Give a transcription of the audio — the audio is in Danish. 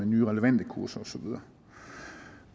nye relevante kurser og så videre